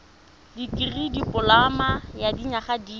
dikirii dipoloma ya dinyaga di